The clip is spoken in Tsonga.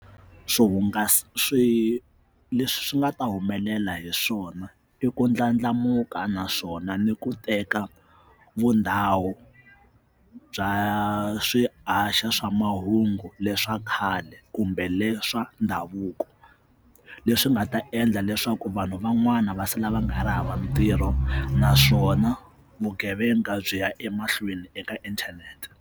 Swihungasi swi leswi nga ta humelela hi swona i ku ndlandlamuka naswona ni ku teka vundhawu bya swi haxa swa mahungu hungu leswa khale kumbe leswa ndhavuko leswi nga ta endla leswaku vanhu van'wana va sala va nga ri hava ntirho naswona vugevenga byi ya emahlweni eka inthanete.